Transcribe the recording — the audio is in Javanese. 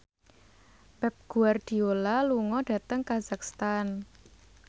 Pep Guardiola lunga dhateng kazakhstan